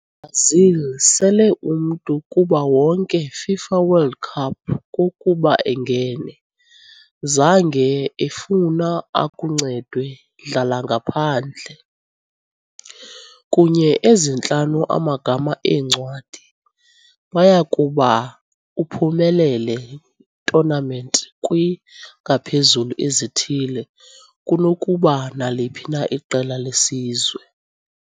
Brazil sele umntu kuba wonke FIFA World Cup kokuba engene, zange efuna akuncedwe dlala-ngaphandle. Kunye ezintlanu amagama eencwadi, baya kuba uphumelele tournament kwingaphezulu ezithile kunokuba naliphi na iqela lesizwe.